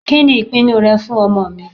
Kìnì ìpinu rẹ fún ọmọ mi?